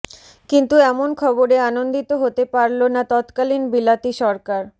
কিন্তু এমন খবরে আনন্দিত হতে পারল না তৎকালীন বিলাতি সরকার